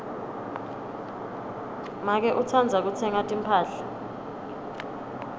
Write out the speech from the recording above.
make utsandza kutsenga timphahla